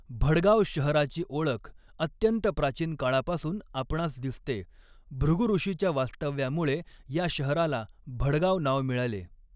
भडगाव शहराची ओळख अत्यंत प्राचीन काळापासुन आपणास दिसते, भृगू ऋषीच्या वास्तव्यामुळे ह्या शहराला भडगाव नाव मिळाले.